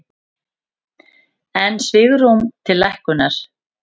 Enn svigrúm til lækkunar